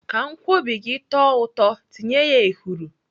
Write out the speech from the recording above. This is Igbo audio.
Ka nkwobi gị tọọ ụtọ, tinye ya ehuru.